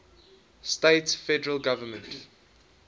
states federal government